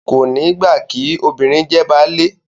Kò ní gbà kí “ obìnrin jẹ baálé ”